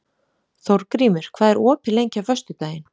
Þórgrímur, hvað er opið lengi á föstudaginn?